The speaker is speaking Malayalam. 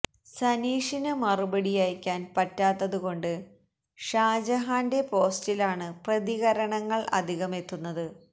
സനീഷിന് മറുപടി അയക്കാൻ പറ്റാത്തതു കൊണ്ട് ഷാജഹാന്റെ പോസ്റ്റിലാണ് പ്രതികരണങ്ങൾ അധികമെത്തുന്നത്